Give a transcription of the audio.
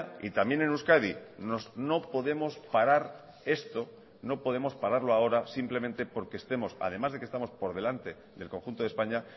y también en euskadi no podemos parar esto no podemos pararlo ahora simplemente porque estemos además de que estamos por delante del conjunto de españa